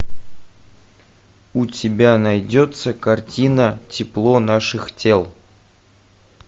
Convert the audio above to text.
у тебя найдется картина тепло наших тел